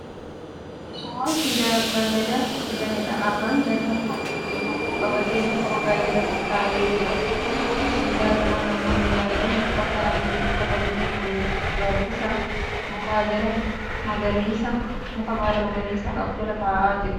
Suuraa siidaa abba Gadaaf hojjetameedha. Abbaan Gadaa kun bokkuu qabatee muka Odaa jala taa'ee jira. Duuba siidaa kanaa namoonni baay'een uffata adii uffatanii waliin gaaddisa muka baala magariisa qabu jala taa'aa jiru.